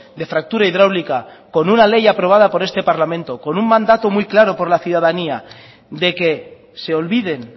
de fractura hidráulica con una ley aprobado en este parlamento con un mandato muy claro por la ciudadanía de que se olviden